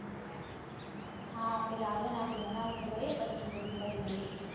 હા પેલા હાલો આપડે માનવી તો લૈયે પછી બધુંય કરી લઈશુ.